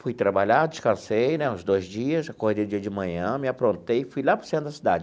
Fui trabalhar, descansei né uns dois dias, acordei no dia de manhã, me aprontei, fui lá para o centro da cidade.